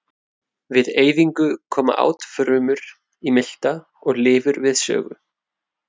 Við eyðingu koma átfrumur í milta og lifur við sögu.